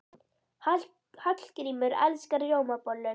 Hallgrímur elskar rjómabollur.